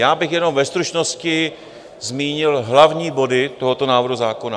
Já bych jenom ve stručnosti zmínil hlavní body tohoto návrhu zákona.